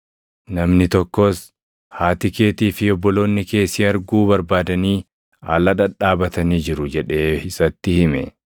Namni tokkos, “Haati keetii fi obboloonni kee si arguu barbaadanii ala dhadhaabatanii jiru” jedhee isatti hime.